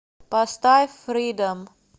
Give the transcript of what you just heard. поставь фридом